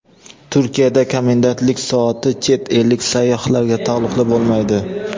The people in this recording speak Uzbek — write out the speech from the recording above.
Turkiyada komendantlik soati chet ellik sayyohlarga taalluqli bo‘lmaydi.